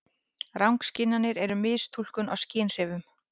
Rangskynjanir eru mistúlkun á skynhrifum.